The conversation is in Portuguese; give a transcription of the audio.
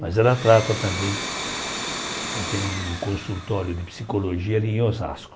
Mas ela trata também, ela tem um consultório de psicologia ali em Osasco.